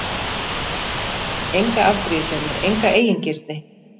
Enga afbrýðisemi, enga eigingirni.